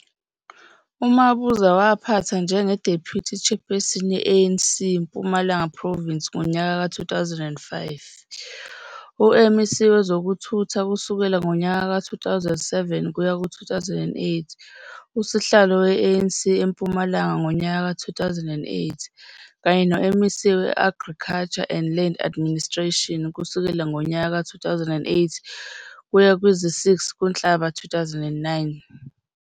UMabuza waphatha njenge Deputy Chairperson ye ANC Mpumalanga Province ngonyaka ka 2005, uMEC wezokuthutha kusukela ngonyaka ka 2007 kuya ku 2008, usihlalo we ANC eMpumalanga ngonyaka ka 2008 kanye noMEC we Agriculture and Land Administration kusukela ngonyaka ka 2008 kuya kwizi 6 kuNhlaba 2009.